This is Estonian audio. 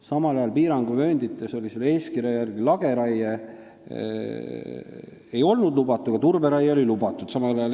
Samal ajal ei olnud piiranguvööndites selle eeskirja järgi lageraie lubatud, turberaie oli lubatud.